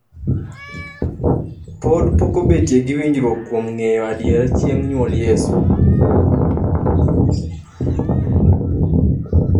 pod pokobetie gi winjruok kuom ng'eyo adier chieng' nyuol yesu